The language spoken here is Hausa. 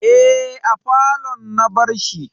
Eh, a falon na bar shi